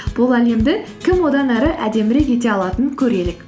бұл әлемді кім одан әрі әдемірек ете алатынын көрелік